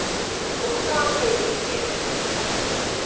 Og hvað höfum við hér?